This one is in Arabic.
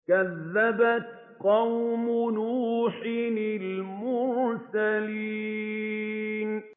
كَذَّبَتْ قَوْمُ نُوحٍ الْمُرْسَلِينَ